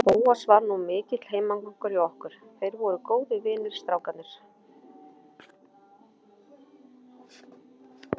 Bóas var nú mikill heimagangur hjá okkur, þeir voru svo góðir vinir, strákarnir.